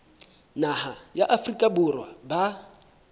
naha ya afrika borwa ba